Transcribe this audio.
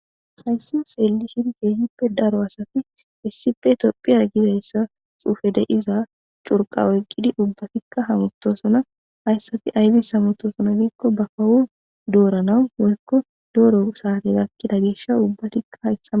Hayssi seelishin keehippe daro asati issife tophiyar gidayssa xuufe deiza curqa oyqqidi ubbatikka hamotosona hayssati aybis hamutosona biikko ba kawu dooranau woykko dooro saate gakkida gesha ubbatikka hayssama.